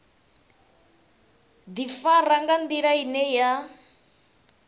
ḓifara nga nḓila ine ya